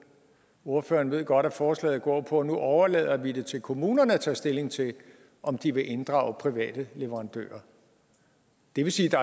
ordføreren ved godt at forslaget går på at nu overlader vi det til kommunerne at tage stilling til om de vil inddrage private leverandører det vil sige